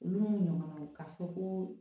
Olu n'u ɲɔgɔnnaw ka fɔ ko